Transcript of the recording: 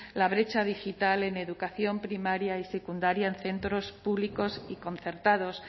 la brecha digital en educación primaria y secundaria en centros públicos y concertados